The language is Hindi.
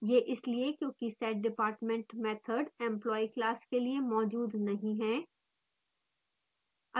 यह इसलिए क्योकि setdepartment मैथड employee class के लिए मौजूद नहीं है